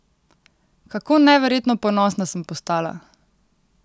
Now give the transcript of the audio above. Kako neverjetno ponosna sem postala!